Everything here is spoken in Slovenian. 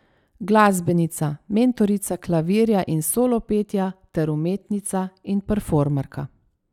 Glasbenica, mentorica klavirja in solopetja ter umetnica in performerka.